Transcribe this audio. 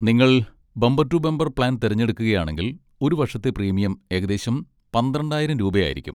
നിങ്ങൾ bumper to bumper plan തിരഞ്ഞെടുക്കുകയാണെങ്കിൽ, ഒരു വർഷത്തെ പ്രീമിയം ഏകദേശം പന്ത്രണ്ടായിരം രൂപയായിരിക്കും.